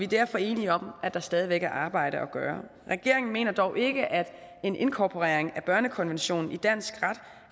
derfor enige om at der stadigvæk er arbejde at gøre regeringen mener dog ikke at en inkorporering af børnekonventionen i dansk ret